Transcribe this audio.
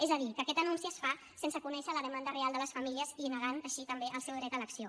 és a dir que aquest anunci es fa sense conèixer la demanda real de les famílies i negant així també el seu dret d’elecció